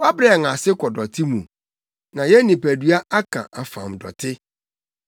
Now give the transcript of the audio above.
Wɔabrɛ yɛn ase kɔ dɔte mu na yɛn nipadua aka afam dɔte.